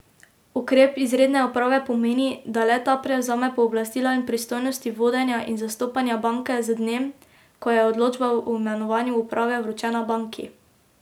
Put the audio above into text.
Ukrep izredne uprave pomeni, da le ta prevzame pooblastila in pristojnosti vodenja in zastopanja banke z dnem, ko je odločba o imenovanju uprave vročena banki.